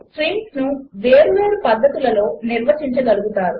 2 స్ట్రింగ్స్ను వేరువేరు పద్ధతులలో నిర్వచించగలుగుతారు